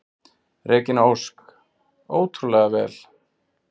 Regína Ósk: Ótrúlega vel.